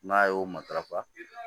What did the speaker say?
N'a y'o matarafa